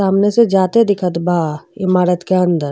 सामने से जाते दिखत बा इमारत के अंदर।